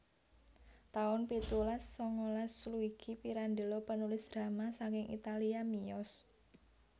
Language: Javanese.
taun pitulas sangalas Luigi Pirandello panulis drama saking Italia miyos